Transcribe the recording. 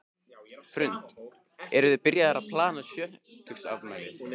Hrund: Eruð þið byrjaðar að plana sjötugsafmælið?